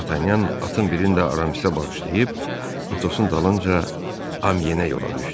Dartanyan atın birini də Aramisə bağışlayıb Atosun dalınca Amyenə yola düşdü.